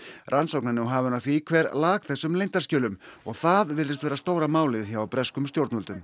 rannsókn er nú hafin á því hver lak þessum leyndarskjölum og það virðist vera stóra málið hjá breskum stjórnvöldum